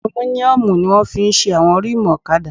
Alumíníọ̀mù ni wọ́n fi ṣe àwọn rímùù ọ̀kadà